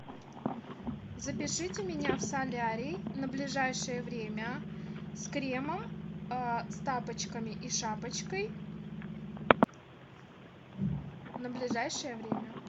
запишите меня в солярий на ближайшее время с кремом с тапочками и шапочкой на ближайшее время